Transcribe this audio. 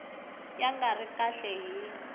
ya nga ri kahle hi